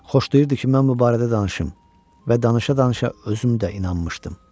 Xoşlayırdı ki, mən bu barədə danışım və danışa-danışa özüm də inanmışdım.